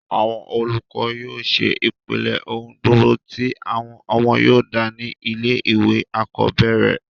àwọn olùkọ́ yóò ṣe ìpìlẹ̀ ohùn gbogbo tí àwọn ọmọ yóò dà ní ilé ìwé àkọ́bẹ̀rẹ̀